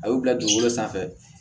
A y'u bila dugukolo sanfɛ